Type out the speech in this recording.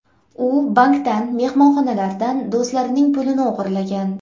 U bankdan, mehmonxonalardan, do‘stlarining pulini o‘g‘irlagan.